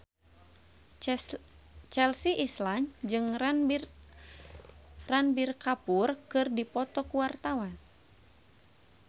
Chelsea Islan jeung Ranbir Kapoor keur dipoto ku wartawan